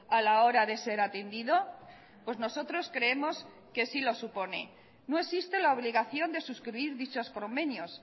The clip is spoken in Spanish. a la hora de ser atendido pues nosotros creemos que sí lo supone no existe la obligación de suscribir dichos convenios